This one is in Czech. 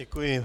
Děkuji.